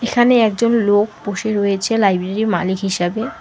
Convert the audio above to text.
এখানে একজন লোক বসে রয়েছে লাইব্রেরির মালিক হিসাবে।